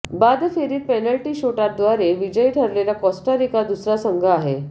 बादफेरीत penalty शूटआउटव्दारे विजयी ठरलेला कोस्टारिका दुसरा संघ आहे